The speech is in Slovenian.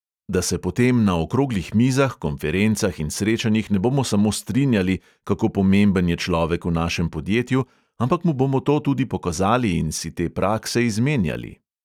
Da se potem na okroglih mizah, konferencah in srečanjih ne bomo samo strinjali, kako pomemben je človek v našem podjetju, ampak mu bomo to tudi pokazali in si te prakse izmenjali.